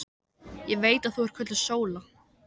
Ég veit að þú ert kölluð Sóla.